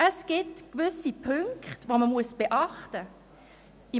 Es gibt gewisse Punkte, die man beachten muss.